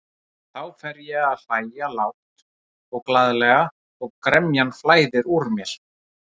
Þá fer ég að hlæja lágt og glaðlega og gremjan flæðir úr mér.